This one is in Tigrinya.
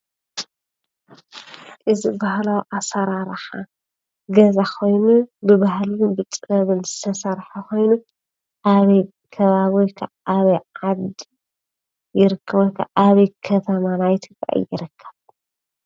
እዚ ባህላዊ ኣሰራርሓ ገዛ ኾይኑ ብባህልን ብጥበብን ዝተሰርሐ ኾይኑ ኣበይ ከባቢ ወይ ከዓ ኣበይ ዓዲ ይርከብ ወይከዓ ኣበይ ከተማ ናይ ትግራይ ይርከብ?